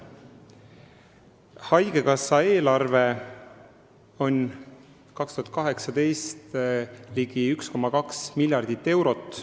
Haigekassa eelarve 2018. aastal on ligi 1,2 miljardit eurot.